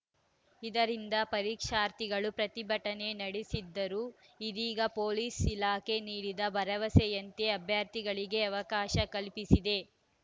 ಇದರಿಂದ ಪರೀಕ್ಷಾರ್ಥಿಗಳು ಪ್ರತಿಭಟನೆ ನಡೆಸಿದ್ದರು ಇದೀಗ ಪೊಲೀಸ್‌ ಇಲಾಖೆ ನೀಡಿದ ಭರವಸೆಯಂತೆ ಅಭ್ಯರ್ಥಿಗಳಿಗೆ ಅವಕಾಶ ಕಲ್ಪಿಸಿದೆ